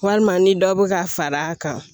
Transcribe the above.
Walima ni dɔ bɛ ka fara a kan